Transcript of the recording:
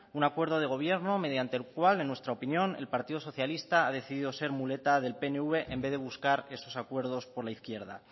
un acuerdo de gobierno mediante el cual en nuestra opinión el partido socialista ha decidido ser muleta del pnv en vez de buscar esos acuerdos por la izquierda